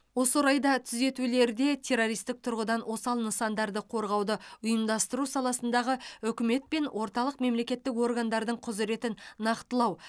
осы орайда түзетулерде террористік тұрғыдан осал нысандарды қорғауды ұйымдастыру саласындағы үкімет пен орталық мемлекеттік органдардың құзыретін нақтылау